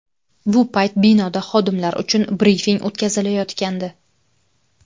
Bu payt binoda xodimlar uchun brifing o‘tkazilayotgandi.